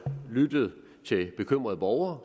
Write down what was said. lyttet til bekymrede borgere